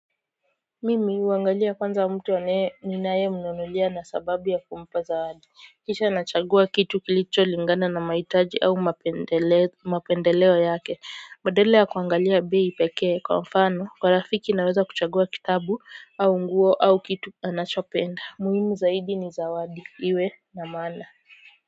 Mimi huangalia kwanza mtu anae ninae mnunulia na sababu ya kumpa zawadi kisha nachagua kitu kilicho lingana na mahitaji au mapendeleo yake badala ya kuangalia bei pekee kwa mfano kwa rafiki naweza kuchagua kitabu au nguo au kitu anachopenda muhimu zaidi ni zawadi iwe na maana.